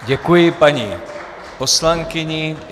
Děkuji paní poslankyni.